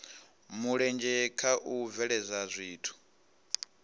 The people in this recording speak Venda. mulenzhe kha u bveledza zwithu